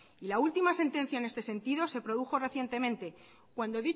y la última sentencia en este sentido se produjo recientemente cuando